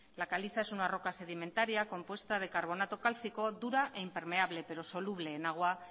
la caliza es una roca sedimentaria compuesta de carbonato cálcico dura e impermeable pero soluble en agua